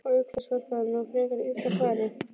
Og auk þess var það nú frekar illa farið.